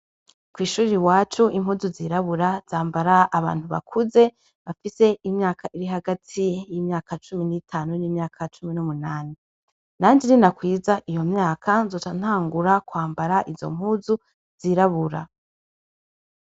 Kw'ishuri iwacu impuzu z'irabura zambara abantu bakuze bafise imyaka iri hagati y'imyaka cumi n'itanu n'imyaka cumi n'umunani nanje ninakwiza iyo myaka zoca ntangura kwambara izompuzu zirabura .